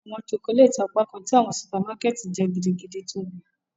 Awọn chocolate apakan ti awọn supermarket jẹ gidigidi tobi